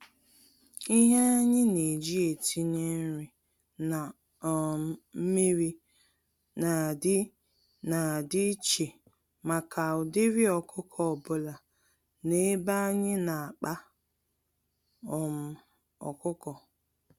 Ihe anyi neji etinye nri na um mmiri, na adị na adị íchè màkà ụdịrị ọkụkọ ọbula n'ebe anyị n'akpa um ọkụkọ